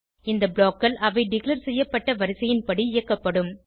இந்த blockகள் அவை டிக்ளேர் செய்யப்பட்ட வரிசையின் படி இயக்கப்படும்